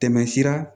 Tɛmɛsira